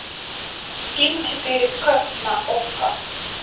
фильм четыре к на окко